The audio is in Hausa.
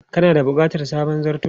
Kana da bukatar sabon zarto?